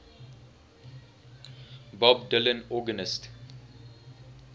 bob dylan organist